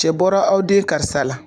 Cɛ bɔra aw den karisa la